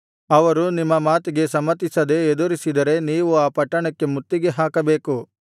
ಅವರು ನಿಮ್ಮ ಮಾತಿಗೆ ಸಮ್ಮತಿಸದೆ ಎದುರಿಸಿದರೆ ನೀವು ಆ ಪಟ್ಟಣಕ್ಕೆ ಮುತ್ತಿಗೆ ಹಾಕಬೇಕು